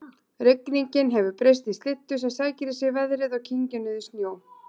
Rigningin hefur breyst í slyddu sem sækir í sig veðrið og kyngir niður snjó